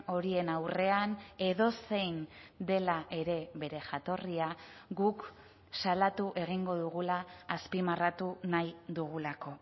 horien aurrean edozein dela ere bere jatorria guk salatu egingo dugula azpimarratu nahi dugulako